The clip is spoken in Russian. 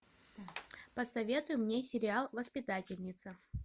посоветуй мне сериал воспитательница